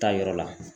Taa yɔrɔ la